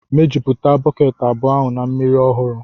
mejupụta bọket abụọ ahụ na mmiri ọhụrụ